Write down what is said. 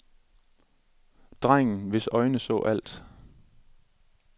Drengen, hvis øjne så alt.